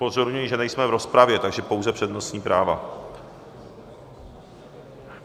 Upozorňuji, že nejsme v rozpravě, takže pouze přednostní práva.